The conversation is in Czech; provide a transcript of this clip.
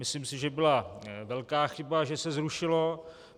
Myslím si, že byla velká chyba, že se zrušilo.